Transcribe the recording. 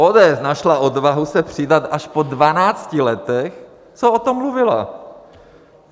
ODS našla odvahu se přidat až po 12 letech, co o tom mluvila.